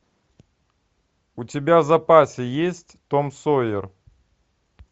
у тебя в запасе есть том сойер